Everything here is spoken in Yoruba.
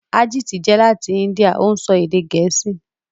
Arjit jẹ lati India; ó ń sọ èdè Gẹ̀ẹ́sì